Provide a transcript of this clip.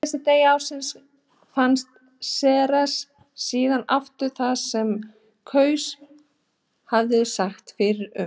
Á síðasta degi ársins fannst Ceres síðan aftur þar sem Gauss hafði sagt fyrir um.